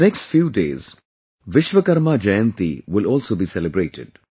in the next few days 'Vishwakarma Jayanti' will also be celebrated